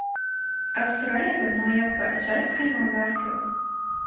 Avstraliyada noyob va ajoyib hayvonlar ko‘p.